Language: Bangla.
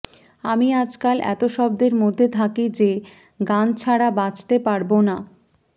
আমি আজকাল এত শব্দের মধ্যে থাকি যে গান ছাড়া বাঁচতে পারব না